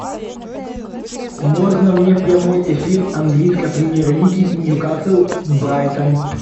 можно мне прямой эфир английской премьер лиги ньюкасл брайтон